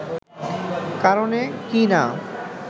কারণে কি না